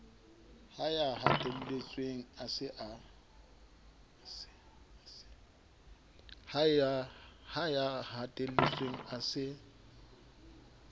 ha ya hatelletsweng a se